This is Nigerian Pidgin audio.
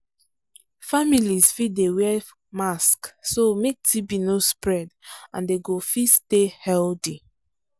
families fit dey wear mask so make tb no spread and dem go fit stay healthy